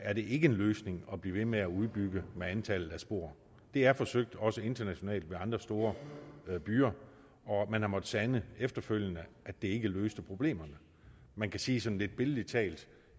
er det ikke en løsning at blive ved med at udbygge antallet af spor det er forsøgt også internationalt ved andre store byer og man har måttet sande efterfølgende at det ikke løste problemerne man kan sige sådan lidt billedligt